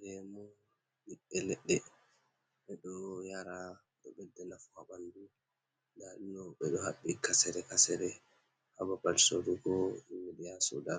Lemu biɓɓe ledde ɓedo yara, do bedde nafu habandu dadumdo be do habbi kasere-kasere hababal sorugo bingel yaha soda